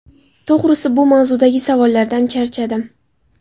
To‘g‘risi, bu mavzudagi savollardan charchadim.